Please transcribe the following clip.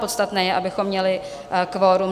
Podstatné je, abychom měli kvorum.